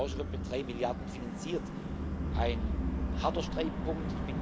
Die zweite Tranche wird mit drei Milliarden finanziert ein harter Streitpunkt.